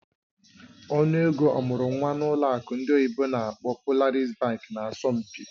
Ọnụ ego ọmụrụ nwa n'ụlọ akụ ndị oyibo n'akpọ "Polaris Bank" nà asọmpi.